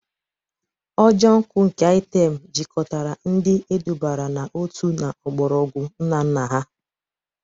Ojo nkwu nke item jikọtara ndi edubara n'otu na mgbọrọgwụ nna nna ha.